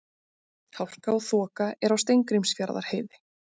Hálka og þoka er á Steingrímsfjarðarheiði